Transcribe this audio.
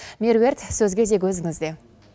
меруерт сөз кезегі өзіңізде